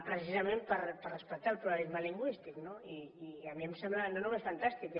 precisament per respectar el pluralisme lingüístic no i a mi em sembla no només fantàstic